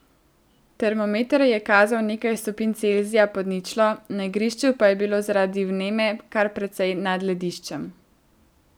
Termometer je kazal nekaj stopinj Celzija pod ničlo, na igrišču pa je bilo zaradi vneme kar precej nad lediščem.